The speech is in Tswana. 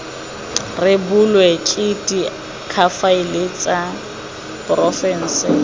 rebolwe ke diakhaefe tsa porofense